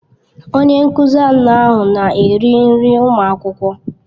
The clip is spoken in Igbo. Onye nkuzi anọ ahụ na-eri nri ụmụ akwụkwọ.